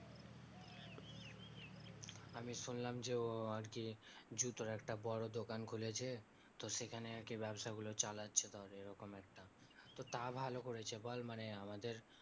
আমি শুনলাম যে ও আরকি জুতোর একটা বড়ো দোকান খুলেছে তো সেখানে আরকি ব্যবসা গুলো চালাচ্ছে তাহলে এই রকম একটা তা ভালো করেছে বল মানে আমাদের